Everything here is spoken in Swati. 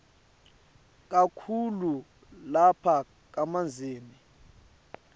kakhulu lapha kamanzini